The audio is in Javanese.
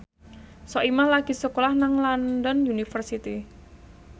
Soimah lagi sekolah nang London University